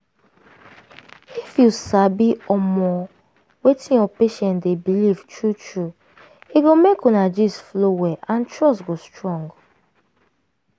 if you sabi omo wetin your patient dey believe true true e go make una gist flow well and trust go strong.